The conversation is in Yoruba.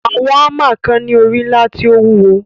Àwọn hámà kan ni ori ńlá tí ó wúwo.